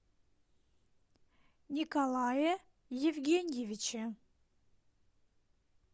николае евгеньевиче